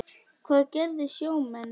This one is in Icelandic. Hvað gera sjómenn þá?